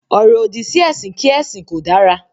“Ọ̀rọ̀-òdì” sí ẹ̀sìn kí ẹ̀sìn kò dára.